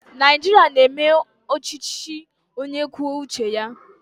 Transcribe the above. Naijiria na-eme ọchịchị onye kwuo uche ya